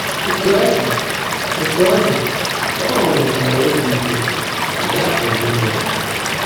Ótú ó ḍị́, Ótú ó ḍị́, Pọ́l nwèkwáárá óbí íke ná yá pụ́rụ́ ímeèrí.